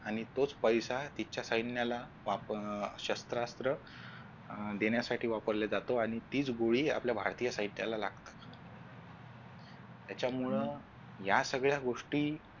आणि तोच पैसा तिच्या सैन्याला वापरण्या शस्त्रास्त्र देण्यासाठी वापरला जातो आणि तीच गोळी आपल्या भारतीय साहित्य लागतात त्याच्या मूळ या सगळ्या गोष्टी